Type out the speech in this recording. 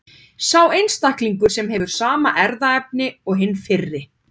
Sá einstaklingur hefur sama erfðaefni og hinn fyrri.